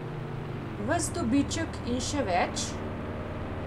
Ves dobiček in še več?